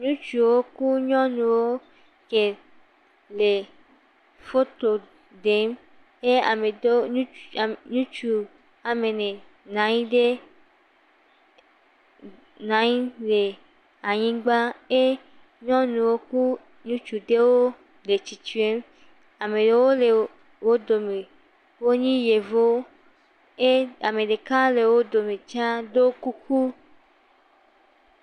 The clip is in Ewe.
Ŋutsuwo ku nyɔnuwo ke, le foto ɖem. Eye ame ɖewo, ŋuts, ŋutsu ame ene na nyi ɖe, na nyi le anyigba, e, nyɔnuwo ku ŋutsu ɖewo le tsitsrem. Am ɖewo le wo dome, wonye Yevuwo. E ame ɖeka le wo dome tsãa do kuku.